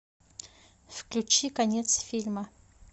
включи конец фильма